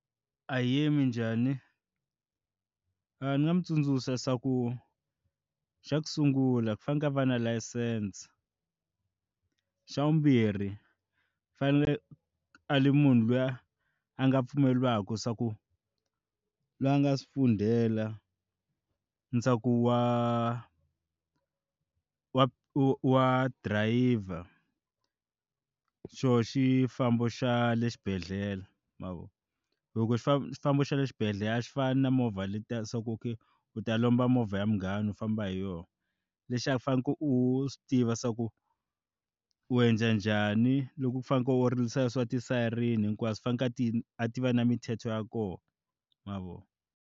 Ahee minjhani? Ni nga n'wi tsundzuxa xa ku xa ku sungula ku faneke a va na layisense xa vumbirhi i fanele a le munhu luya a a nga pfumelelaka swa ku la nga swifundhela na wa dirayivha xo xifambo xa le xibedhlele ma vona loko xifambo xifambo xa le xibedhlele a swi fani na movha letiya so ku u okay u ta lomba movha ya munghana u famba hi yona lexi a faneleke u tiva swa ku u endla njhani loko u fanekele u rilisa swa ti sayirini hinkwaswo faneke a ti va na mithetho ya kona ma vona.